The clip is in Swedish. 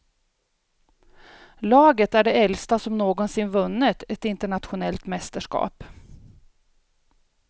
Laget är det äldsta som någonsin vunnit ett internationellt mästerskap.